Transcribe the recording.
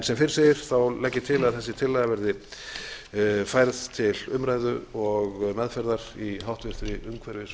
sem fyrr segir legg ég til að þessi tillaga verði færð til umræðu og meðferðar í háttvirtri umhverfis